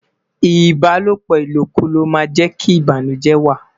Ibalopo ilokulo ma je ki banujẹ wa